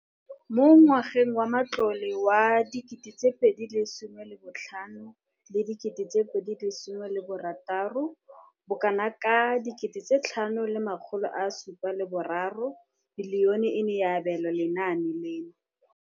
Mo ngwageng wa matlole wa 2015 le 16, bokanaka R5 703 bilione e ne ya abelwa lenaane leno.